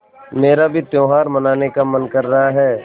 मेरा भी त्यौहार मनाने का मन कर रहा है